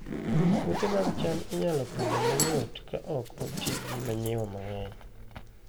Puothe mag cham inyalo Pidho mayot ka ok oti gi manyiwa mang'eny